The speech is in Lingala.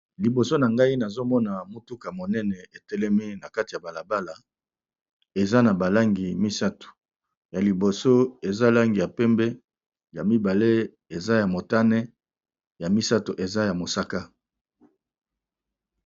Liboso na ngai nazomona mutuka monene etelemi na kati ya balabala eza na ba langi misatu ya liboso eza langi ya pembe ya mibale eza ya motane ya misato eza ya mosaka.